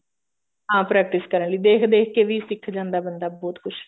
ਹਾਂ practice ਕਰਨ ਲਈ ਦੇਖ ਦੇਖ ਕੇ ਵੀ ਸਿੱਖ ਜਾਂਦਾ ਬੰਦਾ ਬਹੁਤ ਕੁੱਛ